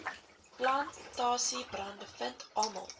plantasiebrande vind almal